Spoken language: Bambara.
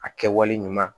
A kɛwale ɲuman